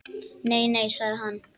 Nei, nei sagði hann.